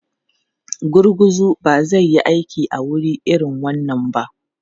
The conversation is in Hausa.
Gurguzu ba zai yi aiki a wuri irin wannan ba.